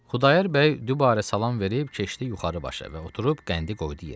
Xudayar bəy dübarə salam verib keçdi yuxarı başa və oturub qəndi qoydu yerə.